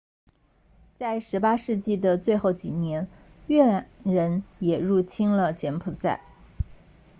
在18世纪的最后几年越南人也入侵了柬埔寨